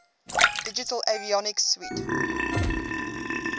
digital avionics suite